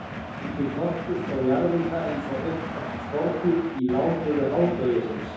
Úti í porti stóð jarðýta eins og uppstoppað skordýr í ládeyðu hádegisins.